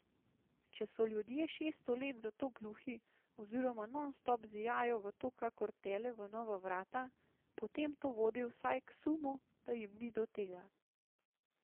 Če so ljudje šeststo let za to gluhi oziroma nonstop zijajo v to kakor tele v nova vrata, potem to vodi vsaj k sumu, da jim ni do tega.